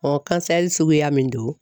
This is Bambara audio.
kansɛri suguya min don